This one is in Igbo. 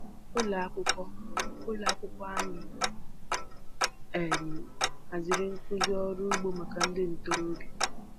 Ụlọ akwụkwọ Ụlọ akwụkwọ anyị um haziri nkụzi ọrụ ugbo maka ndị ntorobịa.